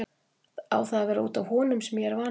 Á það að vera út af honum sem ég er vanhæfur?